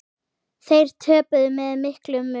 Þeir töpuðu með miklum mun.